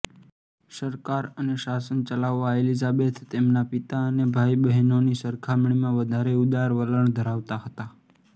સરકાર અને શાસન ચલાવવા એલિઝાબેથ તેમના પિતા અને ભાઈબહેનોની સરખામણીમાં વધારે ઉદાર વલણ ધરાવતા હતા